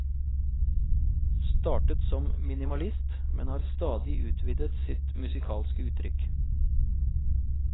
Startet som minimalist, men har stadig utvidet sitt musikalske uttrykk.